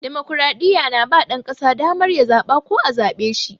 Damokradiyya na ba ɗan ƙasa damar ya zaɓa ko a zaɓe shi.